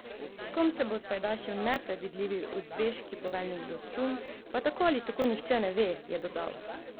S kom se bo spajdašil nepredvidljivi uzbeški poveljnik Dostum, pa tako ali tako nihče ne ve, je dodal.